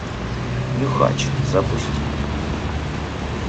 нюхач запусти